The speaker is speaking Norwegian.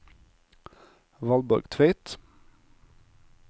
Valborg Tveit